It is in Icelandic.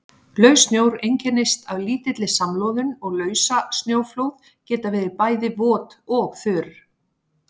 Laus snjór einkennist af lítilli samloðun og lausasnjóflóð geta verið bæði vot og þurr.